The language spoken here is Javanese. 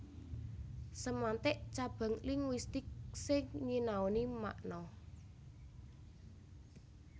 Semantik cabang linguistik sing nyinaoni makna